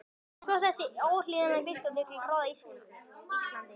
Svo þessi óhlýðni biskup vill ráða Íslandi?